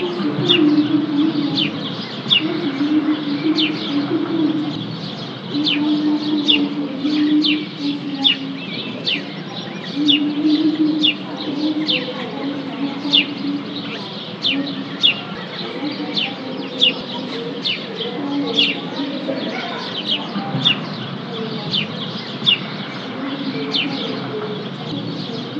Ɔssivi ɖini ka kɔ nu ɛvɛ Ɔssifi edz edz edzi klo, ku atu ɛku fuele nu emu, ashua Uluʋiyɛ bi edziklo, ku aɖu awu fue, ãvã nu ũtí, ku akɔ tsitsi Ku osofo yɛ azɛ ɛku ɣɛsɛ ɖunu ayilie Ɔta bi aɖu awu wɛ ãvã nu ũtí, ku ɔka kpɔ avita Eɖigbo bi ya nu udu yɛ ku aɖu awu ublu, ku akɔ ɛku du nu unuku